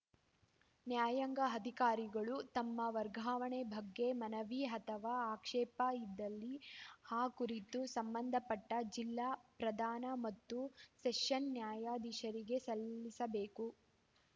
ನ್ಯಾಯಾಂಗ ಅಧಿಕಾರಿಗಳು ತಮ್ಮ ವರ್ಗಾವಣೆ ಬಗ್ಗೆ ಮನವಿ ಅಥವಾ ಆಕ್ಷೇಪ ಇದ್ದಲ್ಲಿ ಆ ಕುರಿತು ಸಂಬಂಧಪಟ್ಟಜಿಲ್ಲಾ ಪ್ರಧಾನ ಮತ್ತು ಸೆಷನ್ ನ್ಯಾಯಾಧೀಶರಿಗೆ ಸಲ್ಲಿಸಬೇಕು